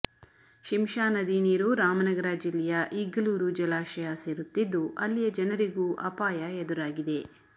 ಶಿಂಷಾ ನದಿ ನೀರು ರಾಮನಗರ ಜಿಲ್ಲೆಯ ಇಗ್ಗಲೂರು ಜಲಾಶಯ ಸೇರುತ್ತಿದ್ದು ಅಲ್ಲಿಯ ಜನರಿಗೂ ಅಪಾಯ ಎದುರಾಗಿದೆ